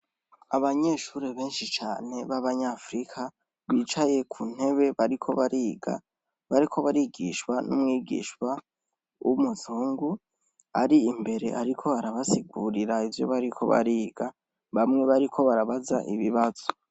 Abanyeshuri benshi cane b'abanyafirika bicaye ku ntebe bariko bariga bariko barigishwa n'umwigisha w'umuzungu ari imbere ariko arabasigurira ivyo bariko bariga, bamwe bariko barabaza ibibazo.